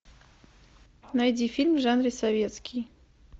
найди фильм в жанре советский